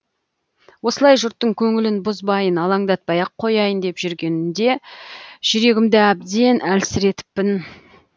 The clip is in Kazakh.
осылай жұрттың көңілін бұзбайын алаңдатпай ақ қояйын деп жүргеніде жүрегімді әбден әлсіретіппін